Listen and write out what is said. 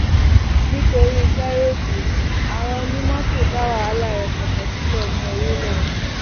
nítorí gàréèjì àwọn onímọtò dá wàhálà rẹpẹtẹ sílẹ ní orílẹ